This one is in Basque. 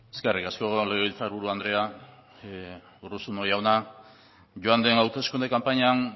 eskerrik asko legebiltzar buru andrea urruzuno jauna joan den hauteskunde kanpainan